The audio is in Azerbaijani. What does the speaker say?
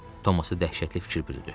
Thomassa dəhşətli fikir bürüdü.